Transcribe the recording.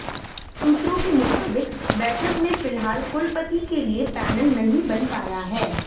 सूत्रों के मुताबिक बैठक में फिलहाल कुलपति के लिए पैनल नहीं बन पाया है